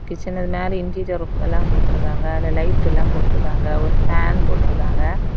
கிச்சன்ல மேல interior work எல்லா கொடுத்துருக்காங்க அதுல லைட் எல்லா போட்ருக்காங்க ஒரு ஃபேன் போட்ருக்காங்க.